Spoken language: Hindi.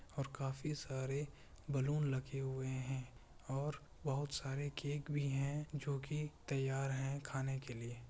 और काफी सारे बलून लगे हुए हैं और बहुत सारे केक भी है जो की तैयार है खाने के लिए ।